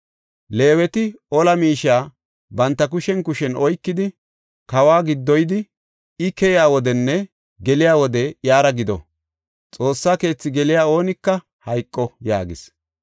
“Leeweti ola miishe banta kushen kushen oykidi kawa giddoyidi I keyiya wodenne geliya wode iyara gido. Xoossa keethi geliya oonika hayqo” yaagis.